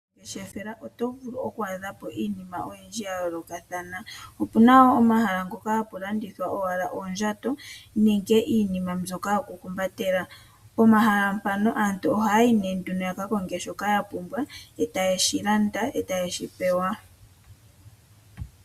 Poongeshefa oto vulu okwaadhapo iinima oyindji yayolokathana, opuna woo omahala ngoka haga landitha owala oondjato nenge iinima ndjoka yoku humpatela. Aantu ahaayi née pohala ngaka etaa ka konga shoka yapumbwa , etaye yeshi landa, eta ye shipewa.